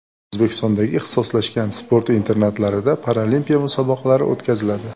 O‘zbekistondagi ixtisoslashgan sport internatlarida paralimpiya musobaqalari o‘tkaziladi.